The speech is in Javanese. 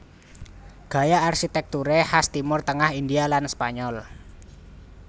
Gaya arsitekture khas Timur Tengah India lan Spanyol